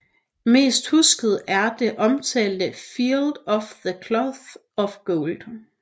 Mest husket er det omtalte Field of the Cloth of Gold